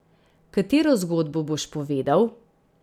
Katero zgodbo boš povedal?